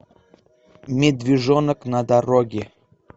медвежонок на дороге